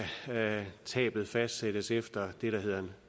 tabet fastsættes efter det der hedder